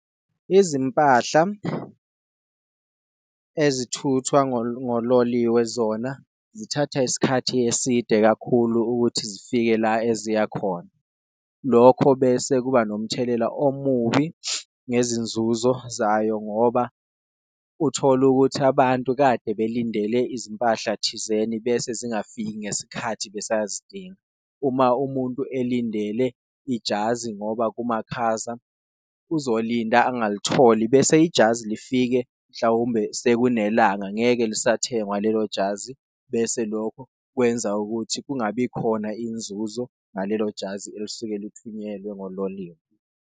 Izimpahla ezithuthwa ngololiwe zona zithatha isikhathi eside kakhulu ukuthi zifike la eziya khona, lokho bese kuba nomthelela omubi ngezinzuzo zayo ngoba uthola ukuthi abantu kade belindele izimpahla thizeni bese zingafiki ngesikhathi besazidinga. Uma umuntu elindele ijazi ngoba kumakhaza, uzolinda angalitholi bese ijazi lifike mhlawumbe sekunelanga, ngeke lisathengwa lelo jazi bese lokho kwenza ukuthi kungabi khona inzuzo ngalelo jazi elisuke lithunyelwe ngololiwe.